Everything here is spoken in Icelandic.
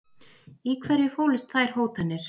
Í hverju fólust þær hótanir?